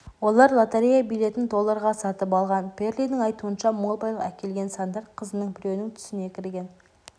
олар лотерея билетін долларға сатып алған пэрлидің айтуынша мол байлық әкелген сандар қызының біреуінің түсіне кірген